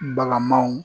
Baganmanw